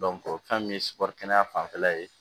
fɛn min ye kɛnɛ fanfɛla ye